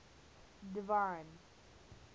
divine